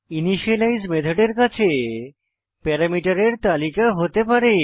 initialise মেথডের কাছে প্যারামিটারের তালিকা হতে পারে